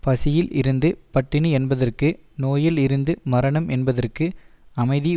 பசியில் இருந்து பட்டினி என்பதற்கு நோயில் இருந்து மரணம் என்பதற்கு அமைதி